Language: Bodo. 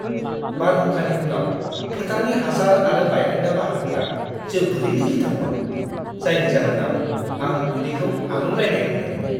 बारहुंखानि उनाव फोथारनि हासार आरो बायखोन्दा बाहागोआ जोबोरैनो गिथावमोन, जायनि जाहोनाव आं उदैखौ आलौलायनाय मोन्दोंमोन!